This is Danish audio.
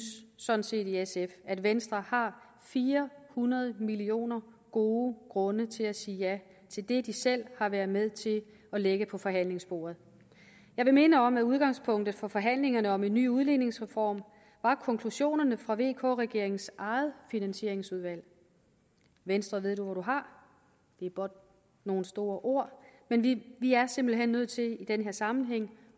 sådan set i sf at venstre har fire hundrede millioner gode grunde til at sige ja til det de selv har været med til at lægge på forhandlingsbordet jeg vil minde om at udgangspunktet for forhandlingerne om en ny udligningsreform var konklusionerne fra vk regeringens eget finansieringsudvalg venstre ved du hvor du har er blot nogle store ord men vi vi er simpelt hen nødt til i den her sammenhæng